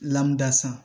dasa